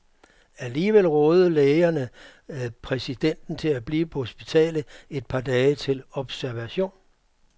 Alligevel rådede lægerne præsidenten til at blive på hospitalet i et par dage til observation.